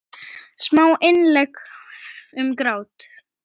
Smá innlegg um grát.